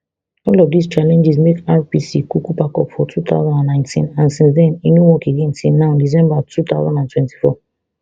all of dis challenges make rpc kuku pack up for two thousand and nineteen and since den e no work again till now december two thousand and twenty-four